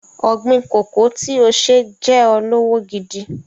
Ọ̀̀gbin kòkó tí o ṣe jẹ́ ọ lọ́wọ́ gidi.